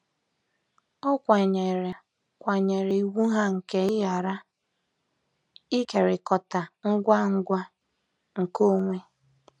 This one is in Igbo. Ọ kwanyeere kwanyeere iwu ha nke ịghara ịkekọrịta ngwa ngwa nkeonwe.